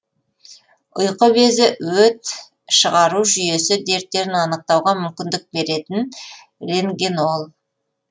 ұйқы безі өт шығару жүйесі дерттерін анықтауға мүмкіндік беретін рентгенол